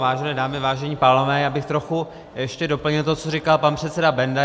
Vážené dámy, vážení pánové, já bych trochu ještě doplnil to, co říká pan předseda Benda.